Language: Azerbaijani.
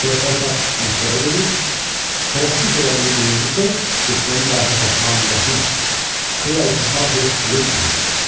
Körpə uşaq məktəbə gedir, tələffüz elədiyi birinci söz Bismillahir-Rəhmanir-Rəhim, Huvəlfəttahu-Əlim olur.